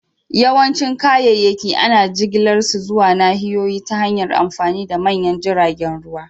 Yawancin kayayyaki ana jigilar su zuwa nahiyoyi ta hanyar amfani da manyan jiragen ruwa